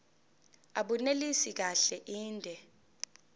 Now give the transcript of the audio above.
abunelisi kahle inde